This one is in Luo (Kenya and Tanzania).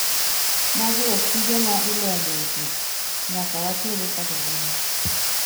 magi ok tije ma ilombo e ji, nyaka watere ka jolweny